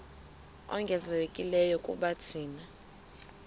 ongezelelekileyo kuba thina